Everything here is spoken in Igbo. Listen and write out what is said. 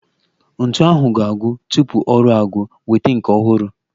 Ntu ahụ ga-agwụ tupu ọrụ agwụ, weta nke ọhụrụ